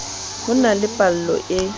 ho na le pallo e